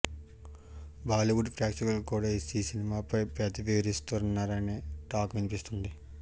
బాలీవుడ్ ప్రేక్షకులు కూడా ఈ సినిమాపై పెదవి విరుస్తున్నారనే టాక్ వినిపిస్తుంది